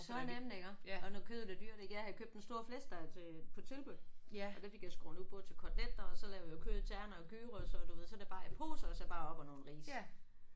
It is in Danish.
Så nemt iggå. Og når kødet er dyrt ik. Jeg havde købt en stor flæskesteg til på tilbud og der fik jeg skåret ud både til koteletter og så lavet jeg kød i tern og i gyros og du ved så er det bare i poser og så bare op og nogle ris